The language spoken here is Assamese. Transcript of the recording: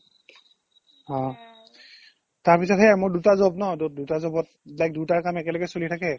অ, তাৰপিছতহে মোৰ দুটা job ন to দুটা job ত like দুয়োতাৰ কাম একেলগে চলি থাকে